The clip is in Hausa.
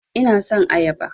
Ina son ayaba